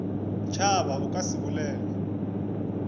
tšhaba o ka se bolele